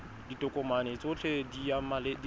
ditokomane tsotlhe tse di maleba